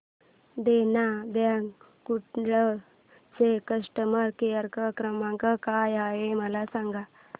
देना bank Kudal चा customer care क्रमांक काय आहे मला सांगा